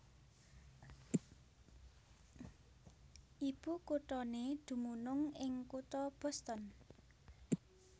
Ibukuthané dumunung ing kutha Boston